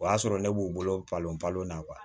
O y'a sɔrɔ ne b'u bolo balo balo na